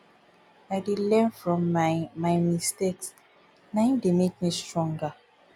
i dey learn from my my mistakes na im dey make me stronger